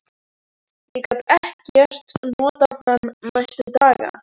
Ég gat ekkert notað hann næstu daga.